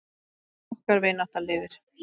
Okkar vinátta lifir.